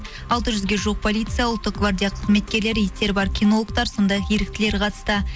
алты жүзге жуық полиция ұлттық гвардия кызметкерлері иттері бар кинологтар сондай ақ еріктілер қатысты